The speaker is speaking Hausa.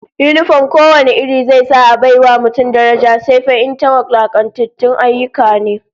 Yinifom ko wane iri zai sa a bai wa mutum daraja, sai fa in ta wulakantatun ayyuka ne